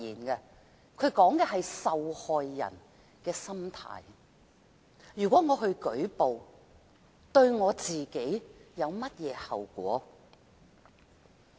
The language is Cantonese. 如果受害人作出舉報，對自己會有甚麼後果？